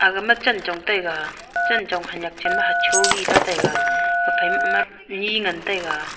aga ma chenchong taega chenchong hanak chen ma acho hi ley taega haphai ma ema nyi ngan taega.